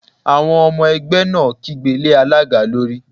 Àwọn ọmọ ẹgbẹ́ náà kígbe lé alága lórí